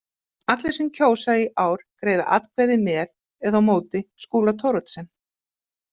Allir sem kjósa í ár greiða atkvæði með eða móti Skúla Thoroddsen.